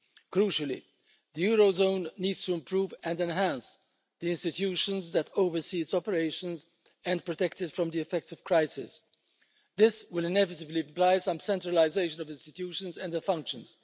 Crucially, the eurozone needs to improve and enhance the institutions that oversee its operations and protect it from the effects of crisis. This will inevitably oblige some centralisation of institutions and their functions.